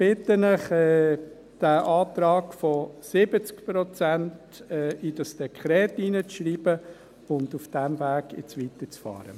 Ich bitte Sie, diesen Antrag von 70 Prozent in dieses Dekret hineinzuschreiben und nun auf diesem Weg weiterzufahren.